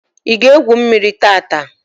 I ga egwu mmírí tata?